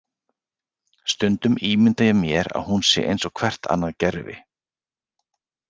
Stundum ímynda ég mér að hún sé eins og hvert annað gervi.